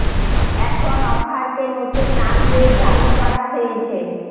এখন অফার কে নতুন নাম দিয়ে চালু করা হয়েছে